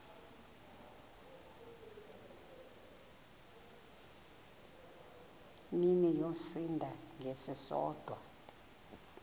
mini yosinda ngesisodwa